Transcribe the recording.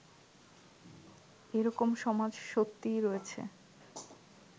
এ-রকম সমাজ সত্যিই রয়েছে